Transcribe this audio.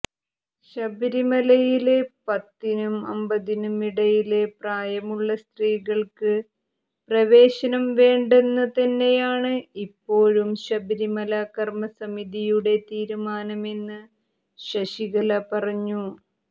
ശബരിമലയില് പത്തിനും അമ്പതിനും ഇടയില് പ്രായമുള്ള സ്ത്രീകള്ക്ക് പ്രവേശനം വേണ്ടെന്ന് തന്നെയാണ് ഇപ്പോഴും ശബരിമല കര്മ്മസമിതിയുടെ തീരുാനമെന്ന് ശശികല പറഞ്ഞു